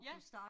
Ja